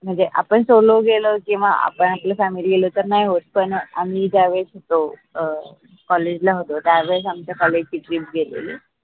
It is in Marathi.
म्हनजे आपन solo गेलं किंवा आपण आपल्या family ला जर आम्ही ज्या वेळेस होतो अं college ला होतो त्या वेळेस आमच्या college ची trip गेलेली